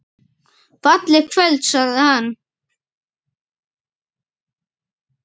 Fallegt kvöld sagði hann.